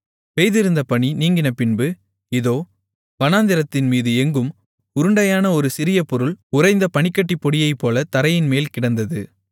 பெய்திருந்த பனி நீங்கினபின்பு இதோ வனாந்திரத்தின்மீது எங்கும் உருண்டையான ஒரு சிறிய பொருள் உறைந்த பனிக்கட்டிப் பொடியைப்போலத் தரையின்மேல் கிடந்தது